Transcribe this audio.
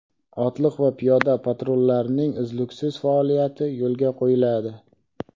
otliq va piyoda patrullarning uzluksiz faoliyati yo‘lga qo‘yiladi.